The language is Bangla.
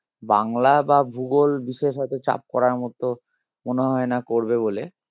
বাংলা বা ভূগোল চাপ করার মতো মনে হয় না করবে বলে